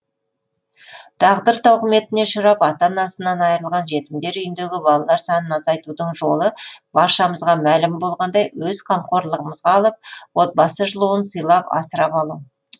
тағдыр тауқыметіне ұшырап ата анасынан айрылған жетімдер үйіндегі балалар санын азайтудың жолы баршамызға мәлім болғандай өз қамқорлығымызға алып отбасы жылуын сыйлап асырап алу